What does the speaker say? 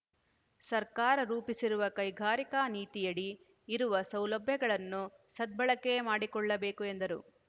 ಸರ್ಕಾರ ರೂಪಿಸಿರುವ ಕೈಗಾರಿಕಾ ನೀತಿಯಡಿ ಇರುವ ಸೌಲಭ್ಯಗಳನ್ನು ಸದ್ಬಳಕೆ ಮಾಡಿಕೊಳ್ಳಬೇಕು ಎಂದರು